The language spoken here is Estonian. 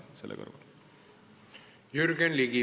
Jürgen Ligi, palun!